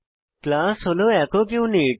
class হল একক unit